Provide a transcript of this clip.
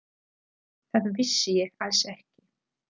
Það vissi ég alls ekki.